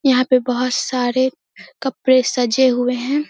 यहां पे बहुत सारे कपड़े साजे हुऐ है।